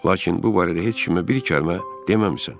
Lakin bu barədə heç kimə bir kəlmə deməmisən.